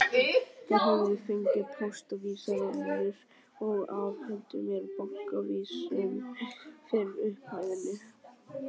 Þær höfðu fengið póstávísanirnar og afhentu mér bankaávísun fyrir upphæðinni.